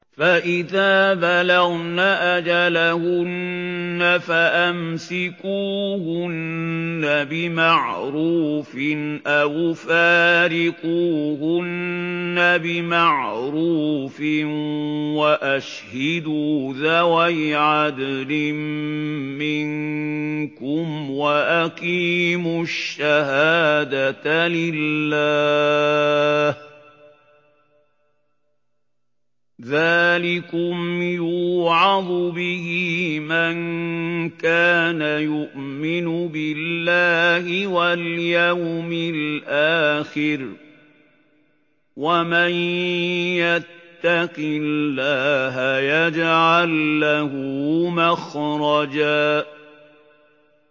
فَإِذَا بَلَغْنَ أَجَلَهُنَّ فَأَمْسِكُوهُنَّ بِمَعْرُوفٍ أَوْ فَارِقُوهُنَّ بِمَعْرُوفٍ وَأَشْهِدُوا ذَوَيْ عَدْلٍ مِّنكُمْ وَأَقِيمُوا الشَّهَادَةَ لِلَّهِ ۚ ذَٰلِكُمْ يُوعَظُ بِهِ مَن كَانَ يُؤْمِنُ بِاللَّهِ وَالْيَوْمِ الْآخِرِ ۚ وَمَن يَتَّقِ اللَّهَ يَجْعَل لَّهُ مَخْرَجًا